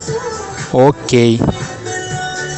окей